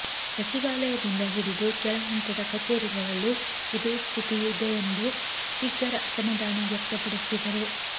ಸಚಿವಾಲಯದಿಂದ ಹಿಡಿದು ಕೆಳ ಹಂತದ ಕಚೇರಿಗಳಲ್ಲೂ ಇದೇ ಸ್ಥಿತಿ ಇದೆ ಎಂದು ಸ್ಪೀಕರ್ ಅಸಮಾಧಾನ ವ್ಯಕ್ತಪಡಿಸಿದರು